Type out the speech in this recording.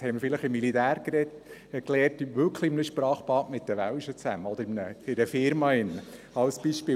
Das haben wir vielleicht im Militär gelernt, wirklich in einem Sprachbad, mit den Welschen zusammen, oder beispielsweise in einer Firma.